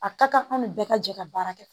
A ka kan an ni bɛɛ ka jɛ ka baara kɛ